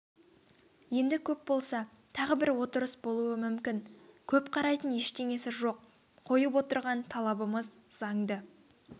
енді көп болса тағы бір отырыс болуы мүмкін көп қарайтын ештеңесі жоқ қойып отырған талабымыз заңды